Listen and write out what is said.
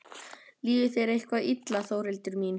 Líður þér eitthvað illa Þórhildur mín?